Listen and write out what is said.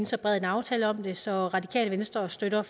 så bred en aftale om det så radikale venstre støtter